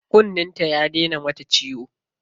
Kunnen ta ya daina mata ciwo.